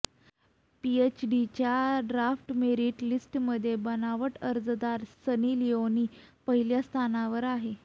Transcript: पीएचईडीच्या draft merit लिस्टमध्ये बनावट अर्जदार सनी लिोनी पहिल्या स्थानावर आहे